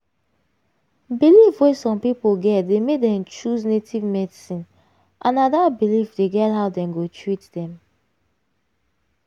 belief wey some people get dey make dem choose native medicine and na dat belief dey guide how dem go treat dem.